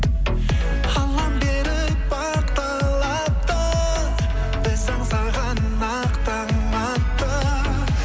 аллам беріп бақ талапты біз аңсаған ақ таң атты